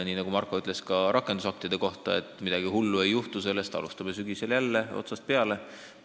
Nii nagu Marko ütles ka rakendusaktide kohta – midagi hullu ei juhtu sellest, kui me alustame sügisel jälle otsast peale.